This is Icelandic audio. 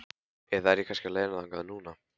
Eða er ég kannski á leiðinni þangað núna?